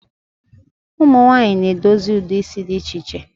Ụmụnwanyị na edozi ụdị isi dị iche iche